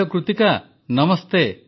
hello Kritika Namaste